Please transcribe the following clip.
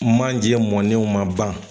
Manje mɔnew ma ban ma ban.